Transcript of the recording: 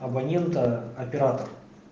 абонента оператор